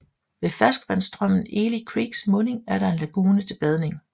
Ved ferskvandsstrømmen Eli Creeks munding er der en lagune til badning